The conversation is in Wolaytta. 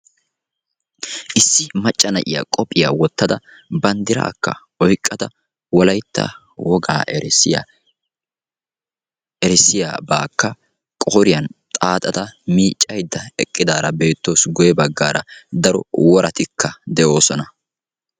issi macca na'iyaa qophiya wotada bandiraakka wolaytta wogaa erissiyabakka qooriyan xaaxada miicaydda eqqidaara beetawusu guye bagaara daro woratikka de'oosona.